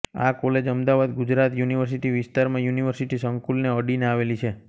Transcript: આ કોલેજ અમદાવાદના ગુજરાત યુનિવર્સિટી વિસ્તારમાં યુનિવર્સિટી સંકુલને અડી ને આવેલી છે